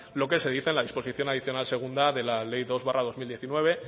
lo que se dice en la disposición adicional segunda de la ley dos barra dos mil diecinueve